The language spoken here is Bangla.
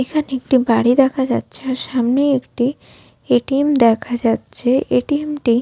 এখানে একটি বাড়ি দেখা যাচ্ছে আর সামনে একটি এ_টি_এম দেখা যাচ্ছে এ_টি_এম টি --